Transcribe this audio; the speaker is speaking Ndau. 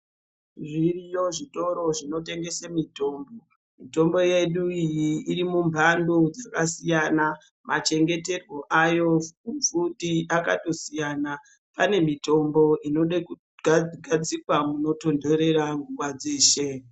Zviriyo zvitoro zvinotengese mitombo mitombo yedu iyi iri mumhanto dzakasiyana machengeterwe ayo futi akatosiyana pane mitombo inode ga kugadzikwa munotontorera nguwa dzeshe.